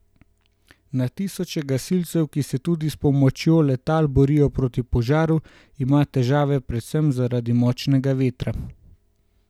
Na tisoče gasilcev, ki se tudi s pomočjo letal borijo proti požaru, ima težave predvsem zaradi močnega vetra.